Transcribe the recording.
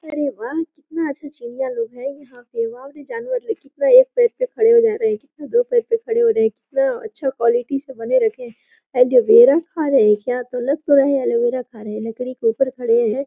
अरे वह कितना अच्छा चिड़ियालोग है यहां पे और भी जानवर दिख रहे है कितना एक पैर पर खड़े हो जा रहे है कितना दो पैर पे खड़े हो रहे है कितना अच्छा क्वालित से बने रखे है ये लोग एलोवेरा खा रहे है लग तो रहे है एलोवेरा खा रहे है लकड़ी के ऊपर खड़े है।